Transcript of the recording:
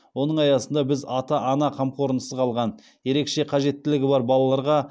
оның аясында біз ата ана қамқорлығынсыз қалған ерекше қажеттілігі бар балаларға